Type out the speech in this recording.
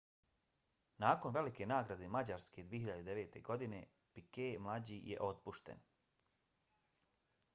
nakon velike nagrade mađarske 2009. godine piquet mlađi je otpušten